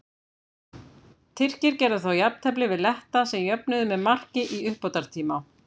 Tyrkir gerðu þá jafntefli við Letta sem jöfnuðu með marki í uppbótartíma.